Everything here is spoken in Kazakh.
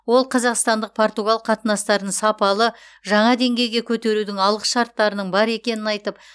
ол қазақстандық португал қатынастарын сапалы жаңа деңгейге көтерудің алғышарттарының бар екенін айтып